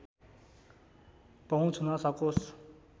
पहुँच हुन सकोस